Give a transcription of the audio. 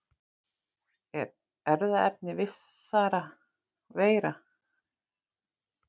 Er erfðaefni vissra veira.